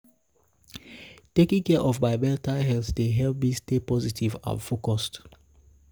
taking care of my mental health dey help me stay positive and focused.